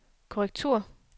korrektur